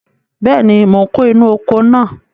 Bẹ́ẹ̀ni, mò ń kó inú oko náà.